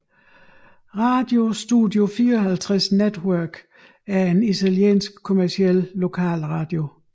Radio Studio 54 Network er en italiensk kommerciel lokalradio